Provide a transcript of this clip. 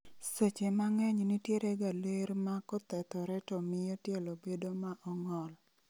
Seche mang'eny nitiere ga ler ma kothethore to mio tielo bed ma ong'ol